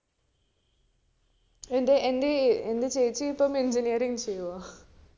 എന്റെ ഏർ എന്റെ ചേച്ചി ഇപ്പൊ engineering ചെയ്യൂആ